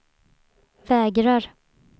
vägrar